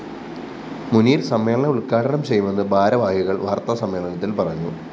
മുനീര്‍ സമ്മേളനം ഉദ്ഘാടനം ചെയ്യുമെന്ന് ഭാരവാഹികള്‍ വാര്‍ത്താസമ്മേളനത്തില്‍ പറഞ്ഞു